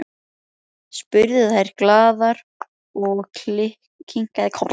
spurðu þær glaðar og ég kinkaði kolli.